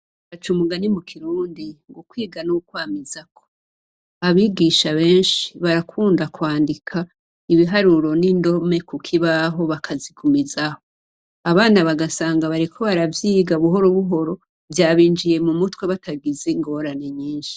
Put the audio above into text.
Baca umugani mu kirundi ngo ukwiga ni ukwamizako. Abigisha benshi, barakunda kwandika ibiharuro n' indome Ku kibaho bakazigumizaho. Abana bagasanga bariko baravyiga buhoro buhoro, vyabinjiye mu mutwe batagize ingorane nyinshi .